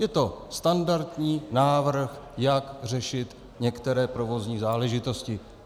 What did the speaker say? Je to standardní návrh, jak řešit některé provozní záležitosti.